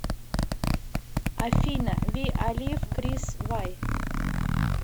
афина ви алив крис вай